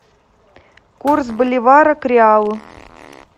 курс боливара к реалу